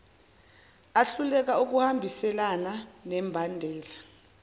ahluleka ukuhambiselana nembandela